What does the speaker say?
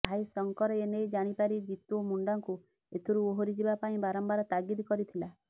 ଭାଇ ଶଙ୍କର ଏନେଇ ଜାଣି ପାରି ଜିତୁ ମୁଣ୍ଡାକୁ ଏଥିରୁ ଓହରି ଯିବା ପାଇଁ ବାରମ୍ବାର ତାଗିଦ କରିଥିଲା